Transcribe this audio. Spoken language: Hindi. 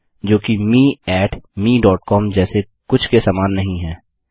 जो कि मे mecom जैसे कुछ के समान नहीं है